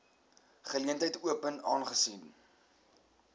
geleentheid open aangesien